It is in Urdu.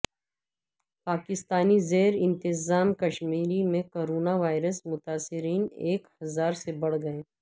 پاکستانی زیر انتظام کشمیر میں کرونا وائرس متاثرین ایک ہزار سے بڑھ گئے